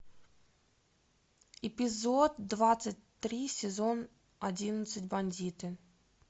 эпизод двадцать три сезон одиннадцать бандиты